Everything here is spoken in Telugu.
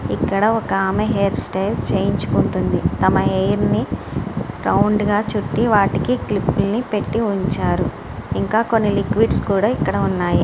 ఇక్కడ ఒక ఆమె హెయిర్ స్టైల్ చేయించుకుంటుంది. తమ హెయిర్ ని రౌండ్ గా చుట్టి వాటికి క్లిప్స్ పెట్టి ఉంచారు. ఇంకా కొన్ని లిక్విడ్స్ ఇక్కడ ఉన్నాయి.